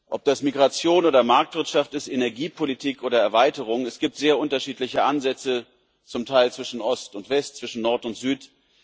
Ob das Migration oder Marktwirtschaft, Energiepolitik oder Erweiterung ist, es gibt zum Teil sehr unterschiedliche Ansätze zwischen Ost und West, zwischen Nord und Süd.